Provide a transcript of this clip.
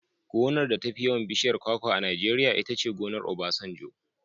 Gonar da tafi yawan bishiyar kwakwa a Najeriya itace gonar Obasanjo.